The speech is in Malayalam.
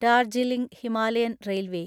ഡാർജീലിംഗ് ഹിമാലയൻ റെയിൽവേ